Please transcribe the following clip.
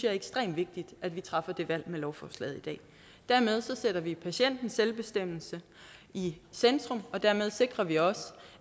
er ekstremt vigtigt at vi træffer det valg med lovforslaget i dag dermed sætter vi patientens selvbestemmelse i centrum og dermed sikrer vi også